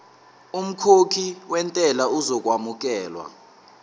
umkhokhi wentela uzokwamukelwa